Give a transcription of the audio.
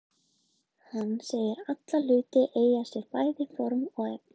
Hann segir alla hluti eiga sér bæði form og efni.